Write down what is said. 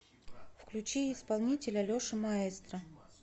включи исполнителя леша маэстро